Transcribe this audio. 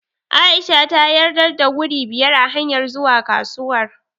A'isha ta yarda da wuri biyar a hanyar zuwa kasuwar.